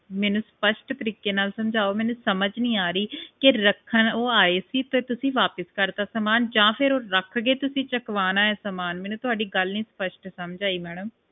ਮੈਨੂੰ ਸਪਸ਼ਟ ਤਰੀਕੇ ਨਾਲ ਸਮਝਾਓ ਮੈਨੂੰ ਸਮਝ ਨਹੀਂ ਆ ਰਹੀ ਤੇ ਰੱਖਣ ਉਹ ਆਏ ਸੀ ਤੇ ਤੁਸੀਂ ਵਾਪਸ ਕਰਤਾ ਸਾਮਾਨ ਕੇ ਉਹ ਰੱਖ ਗਏ ਤੁਸੀਂ ਚਕਵਾਉਣਾ ਹੈ ਸਾਮਾਨ ਮੈਨੂੰ ਤੁਹਾਡੀ ਗੱਲ ਨਹੀਂ ਸਪਸ਼ਟ ਸਮਝ ਆਈ